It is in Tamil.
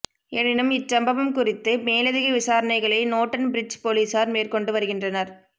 எனினும் இச்சமபவம் குறித்து மேலதிக விசாரணைகளை நோட்டன் பிரிட்ஜ் பொலிஸார் மேற்கொண்டு வருகின்றனர்